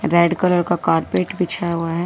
Red colour का carpet बिछा हुआ है।